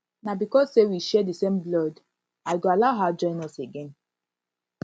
na because say we share the same blood i go allow her join us again